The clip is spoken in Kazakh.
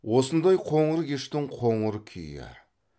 осындай қоңыр кештің қоңыр күйі